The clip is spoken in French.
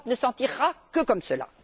L'Europe ne s'en tirera que comme cela.